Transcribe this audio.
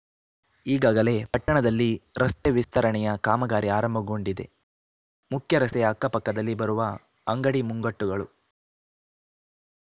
ಈಗಾಗಲೇ ಪಟ್ಟಣದಲ್ಲಿ ರಸ್ತೆ ವಿಸ್ತರಣೆಯ ಕಾಮಗಾರಿ ಆರಂಭಗೊಂಡಿದೆ ಮುಖ್ಯರಸ್ತೆಯ ಅಕ್ಕಪಕ್ಕದಲ್ಲಿ ಬರುವ ಅಂಗಡಿ ಮುಂಗಟ್ಟುಗಳು